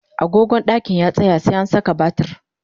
agogon ɗakin ya tsaya, sai an Saka batiri